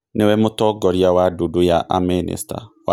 nĩ ye mũtongoria wa ndundu ya amĩnĩcita wa rĩu kenya